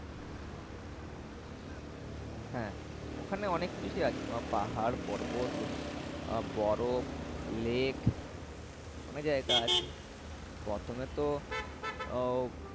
হ্যাঁ ওখানে অনেক কিছুই আছ। পাহাড় পর্বত বরফ লেক অনেক জায়গা আছে। প্রথমে উহ